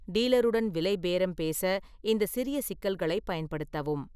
டீலருடன் விலை பேரம் பேச இந்த சிறிய சிக்கல்களைப் பயன்படுத்தவும்.